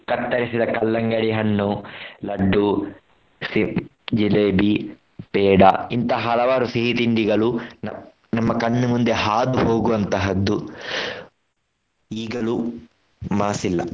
ಕತ್ತರಿಸಿದ ಕಲ್ಲಂಗಡಿ ಹಣ್ಣು, ಲಡ್ಡು, ಸೇಬ್, ಜಿಲೇಬಿ, ಪೇಡ ಇಂತಹ ಹಲವಾರು ಸಿಹಿ ತಿಂಡಿಗಳು ನ~ ನಮ್ಮ ಕಣ್ಣು ಮುಂದೆ ಹಾದು ಹೋಗುವಂತಹದ್ದು ಈಗಲೂ ಮಾಸಿಲ್ಲ.